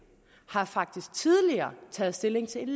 har faktisk tidligere taget stilling til